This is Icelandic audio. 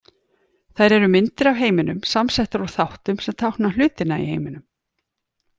Þær eru myndir af heiminum, samsettar úr þáttum sem tákna hlutina í heiminum.